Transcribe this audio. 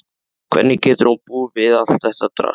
Hvernig getur hún búið við allt þetta drasl?